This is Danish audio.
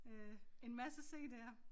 Øh en masse cd'er